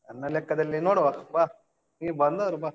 ನನ್ನ ಲೆಕ್ಕದಲ್ಲಿ ನೋಡುವ ಬಾ. ನೀ ಬಂದ್ ನೋಡು ಬಾ.